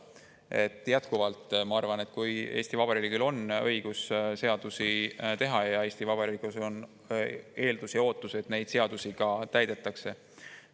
Ma jätkuvalt arvan, et Eesti Vabariigil on õigus seadusi teha ja Eesti Vabariigil on eeldusi ja ootusi, et neid seadusi ka täidetakse.